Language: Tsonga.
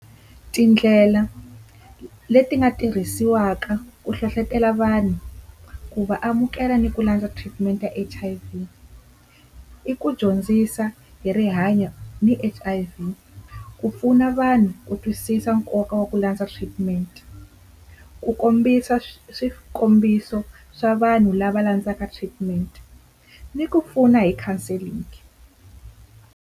Tindlela leti nga tirhisiwaka ku hlohlotelo vanhu ku va amukela ni ku landza treatment ya H_I_V, i ku dyondzisa hi rihanyo ni H_I_V, ku pfuna vanhu ku twisisa nkoka wa ku landza treatment, ku kombisa swikombiso swa vanhu lava landzaka treatment ni ku pfuna hi counselling.